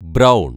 brown